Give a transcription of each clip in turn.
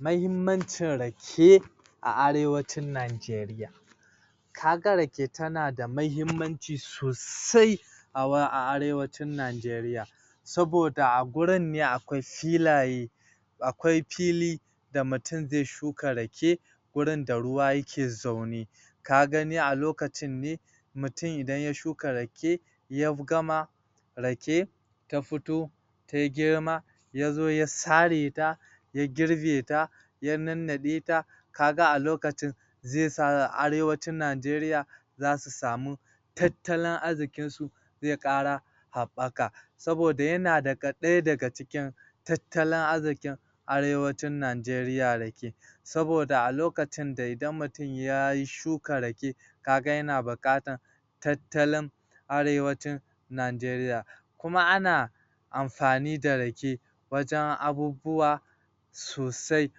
Mahimmancin rake a Arewacin Najeriya ka ga rake tana da mahimmanci sosai a Arewacin Najeriya saboda gurin ne akwai filaye akwai fili da mutum zai shuka rake wurin da ruwa yake zaune ka gani a lokacin ne mutum idan ya shuka rake ya gama rake ta fito ta yi girma ya zo ya sare ta ya nannade ta ka ga a lokacin shi ya sa a Arewacin Najeriya za su samu tattalin arziƙnsu zai ƙara haɓaka saboda yana daga ɗaya daga cikin tattalin arziƙin Arewacin Najeriya rake saboda a lokacin da idan mutum yayi shuka rake ka ga yana buƙatar tattalin Arewacin Najeriya kuma amfani da rake wajen abubuwa sosai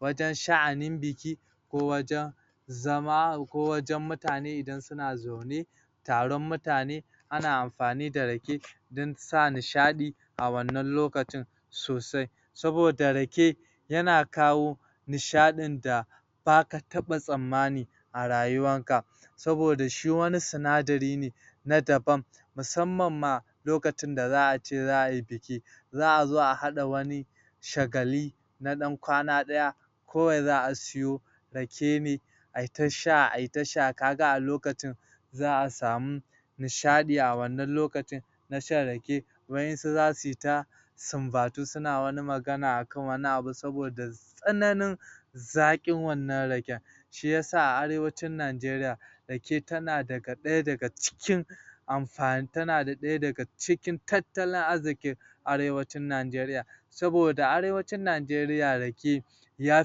wajen sha'anin buki ko wajen zama ko wajen mutane idan suna zaune taron mutane ana amfani da rake don sa nisha a wannan lokacin sosai saboda rake yana kawo nishadin da ba ka taɓa tsammani a rayuwarka saboda shi wani sinadari ne na daban musamman ma lokacin da za a ce za a yi buki za a zo a hada wani na dan kwana daya kawai za a siyo rake mai ai ta sha ai tasha ka ga a lokacin za a samu nishadi a wannan lokacin na shan rake waƴansu za su yi ta sambatu suna wani magana akan wani abu saboda tsananin zaƙin wannan raken shi yasa a Arewacin Najeriya rake tana daga daya daga cikin?.... tana daya daga cikintattalin arziƙin Arewacin Najeriya saboda a Arewacin Najeriya rake ya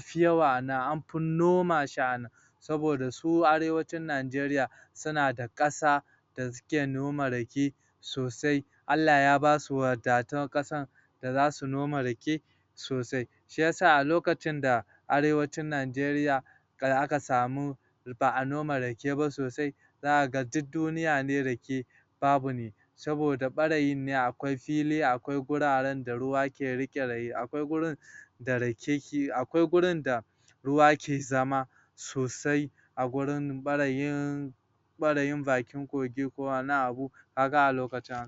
fi yawa a nan an fi noma shi a nan saboda su Arewacin Najeriya suna da ƙasa da suke noma rake sosai Allah ya ba su wadatun ƙasa da za su noma rake sosai shi yasa a lokacin da Arewacin Najeriya har aka samu ba a noma rake ba sosai zaka ga duk duniya ne rake babu ne saboda ɓarayin ne akwai fili akwai guraren da ruwa ke riƙe rayi, akwai gurin da rake akwai gurin da ruwa ke zama sosai a gurin ɓarayin ɓarayin bakin kogi ko wani abu ka ga a lokacin